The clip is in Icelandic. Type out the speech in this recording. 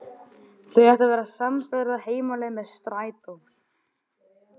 Þau ætla að verða samferða heim á leið með strætó.